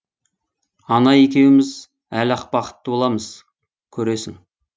ана екеуміз әлі ақ бақытты боламыз көресің